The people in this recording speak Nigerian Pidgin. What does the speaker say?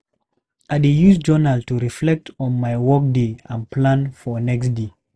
I dey use journal to reflect on my workday and plan for next day.